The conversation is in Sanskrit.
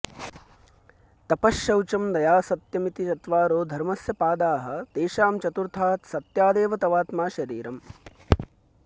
तपः शौचं दया सत्यमिति चत्वारो धर्मस्य पादास्तेषां चतुर्थात्सत्यादेव तवात्मा शरीरम्